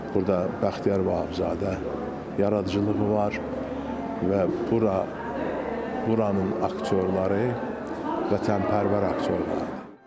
Burda Bəxtiyar Vahabzadə yaradıcılığı var və bura, buranın aktyorları vətənpərvər aktyorlardır.